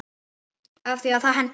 Af því að það hentar.